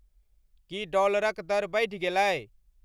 की डॉलरक दर बढ़ि गेलै